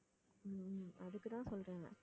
உம் உம் அதுக்கு தான் சொல்றேன்